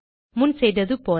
முன் செய்தது போல